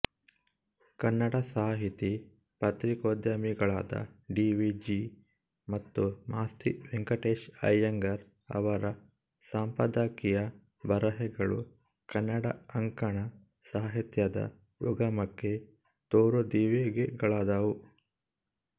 ಕನ್ನಡದ ಸಾಹಿತಿ ಪತ್ರಿಕೋದ್ಯಮಿಗಳಾದ ಡಿವಿಜಿ ಮತ್ತು ಮಾಸ್ತಿ ವೆಂಕಟೇಶಅಯ್ಯಂಗಾರ್ ಅವರ ಸಂಪಾದಕೀಯ ಬರೆಹಗಳು ಕನ್ನಡ ಅಂಕಣ ಸಾಹಿತ್ಯದ ಉಗಮಕ್ಕೆ ತೋರುದೀವಿಗೆಗಳಾದವು